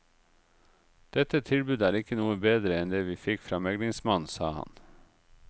Dette tilbudet er ikke noe bedre enn det vi fikk fra meglingsmannen, sa han.